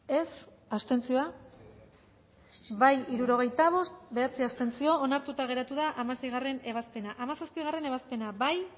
dezakegu bozketaren emaitza onako izan da hirurogeita hamalau eman dugu bozka hirurogeita bost boto aldekoa bederatzi abstentzio onartuta geratu da hamaseigarrena ebazpena hamazazpigarrena ebazpena bozkatu